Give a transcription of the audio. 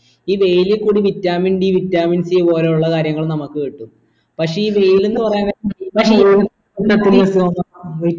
ഈ വെയിൽ കൂടി vitamin d vitamin c പോലുള്ള കാര്യങ്ങൾ നമ്മക്ക് കിട്ടും പക്ഷെ ഈ വെയിലന്ന് പറയുന്ന